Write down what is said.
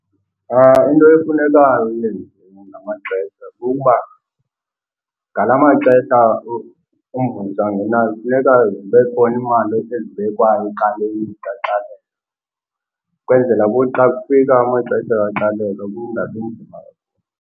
Into efuneka uyenzile ngamaxesha kukuba ngala maxesha umvuzo angenayo funeka zibe khona imali ezibekwayo ecaleni zikaxakeka ukwenzela kuthi xa kufika amaxesha kaxakeka kungabi nzima.